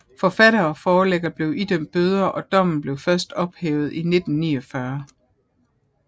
Forfatter og forlægger blev idømt bøder og dommen blev først ophævet i 1949